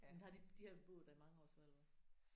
Men har de de har boet der i mange så eller hvad?